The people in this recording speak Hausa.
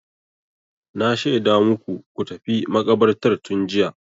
Na shaida maku ku tafi makabartar tun jiya.